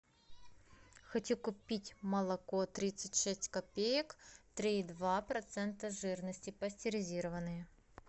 хочу купить молоко тридцать шесть копеек три и два процента жирности пастеризированное